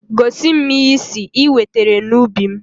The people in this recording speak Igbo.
Gosi m ihe ị sị ị wetere n'ubi m!